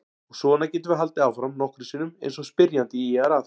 Og svona getum við haldið áfram nokkrum sinnum eins og spyrjandi ýjar að.